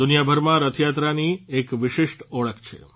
દુનિયાભરમાં રથયાત્રાની એક વિશિષ્ટ ઓળખ છે